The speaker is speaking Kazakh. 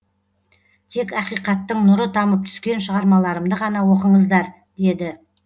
тек ақиқаттың нұры тамып түскен шығармаларымды ғана оқыңыздар деді